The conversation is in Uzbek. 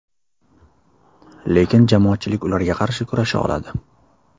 Lekin jamoatchilik ularga qarshi kurasha oladi.